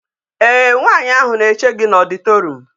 Ee nwanyi ahu na e che gi na auditorium